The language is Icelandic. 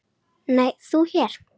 Nei, þú hér?